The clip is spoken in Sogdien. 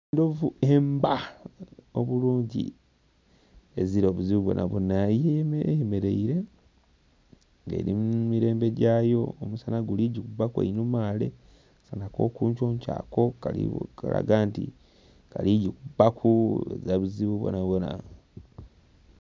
Envuvu ebba obulungi ezira buzibu bwoona bwoona eyemeraire nga eri mumirembe jayo omusana guli gikubbaku einhuma ghale akasana akokunkyonkyo ako kaligho kalaga nti kali jikubba ku ghazira buzibu bwoona bwoona.